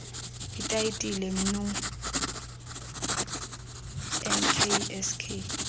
itayitile mnu nksk